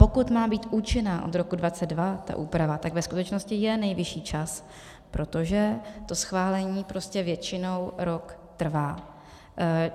Pokud má být účinná od roku 2022 ta úprava, tak ve skutečnosti je nejvyšší čas, protože to schválení prostě většinou rok trvá.